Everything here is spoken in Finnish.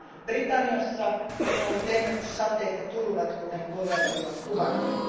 Britanniassa on ollut ennätyssateita ja tulvia, kuten kollegat ovat kuvanneet.